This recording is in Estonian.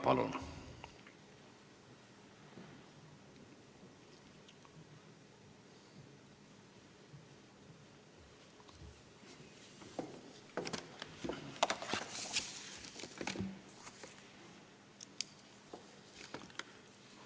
Palun!